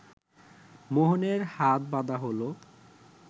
মোহনের হাত বাঁধা হলো